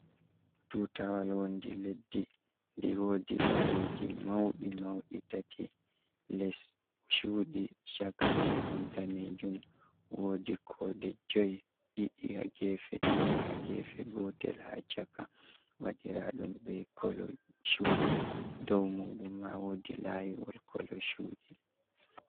Tutawal wondi leddi, di wodi layiji mauɗi mauɗi tati, les chuɗi, chaka muɗum danejum, wodi ko de jui ɗiɗi ha gefe, ɗiɗi ha gefe, gotel ha chaka waɗiraɗum be kolo chuɗi, dow muɗum ma wodi layiwol kolo chuɗi.